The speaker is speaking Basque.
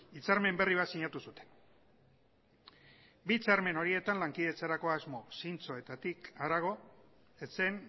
hitzarmen berri bat sinatu zuten bi hitzarmen horietan lankidetzarako asmo zintzoetatik harago ez zen